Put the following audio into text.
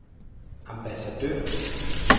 ambassadør